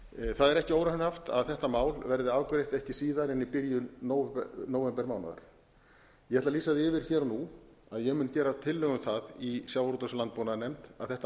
það er ekki óraunhæft að þetta mál verði afgreitt ekki síðar en í byrjun nóvembermánaðar ég ætla að lýsa því yfir hér og nú að ég mun gera tillögu um það í sjávarútvegs og landbúnaðarnefnd að þetta